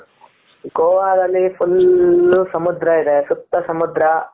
ಗೋವಾದಲ್ಲಿ full ಸಮುದ್ರ ಇದೆ ಸುತ್ತ ಸಮುದ್ರ